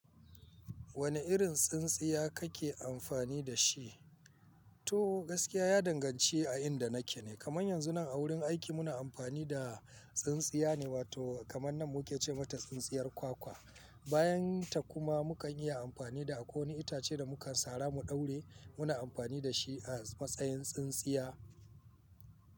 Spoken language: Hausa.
Wane irin tsintsiya kake amfani da shi? To gaskiya ya danganci a inda nake ne. Kamar yanzu nan a wurin aiki muna amfani da tsintsiya ne wato kamar nan mu ke ce mata tsintsiyar kwakwa. Bayan ta kuma mu kan iya amfani da akwai wani itace da mu ka sara mu daure muna amfani da shi a matsayin tsintsiya.